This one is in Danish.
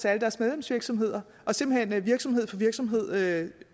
alle deres medlemsvirksomheder og simpelt hen virksomhed for virksomhed med